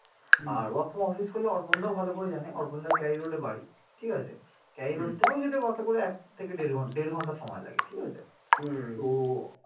R work from office করলে অর্পণ দাও ভালো করে জানে অর্পণ দা ক্যারি road এ বাড়ি ঠিক আছে ক্যারি road থেকেও যেত বাসে করে এক থেকে দেড় ঘন্টা দেড় ঘন্টা সময় লাগে ঠিক আছে তো